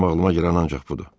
Mənim ağlıma girən ancaq budur.